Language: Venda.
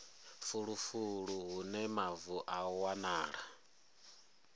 fulufulu hune mavu a wanala